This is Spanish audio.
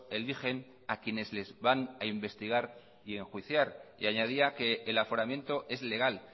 eligen a quienes les van a investigar y enjuiciar y añadía que el aforamiento es legal